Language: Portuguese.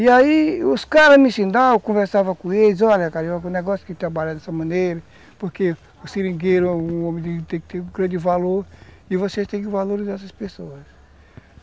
E aí os caras me ensinavam, eu conversava com eles, olha, Carioca, o negócio que trabalha dessa maneira, porque o seringueiro é um homem que tem que ter um grande valor, e você tem que valorizar essas pessoas.